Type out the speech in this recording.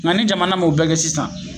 Nga ni jamana m'o bɛɛ kɛ sisan